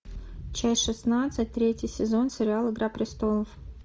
часть шестнадцать третий сезон сериал игра престолов